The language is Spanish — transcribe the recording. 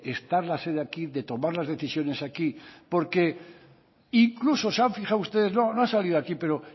estar la sede aquí de tomar las decisiones aquí porque incluso se han fijado ustedes no no ha salido aquí pero